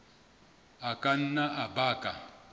a ka nna a baka